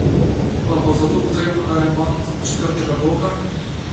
Pa bo za to potreben remont četrtega bloka?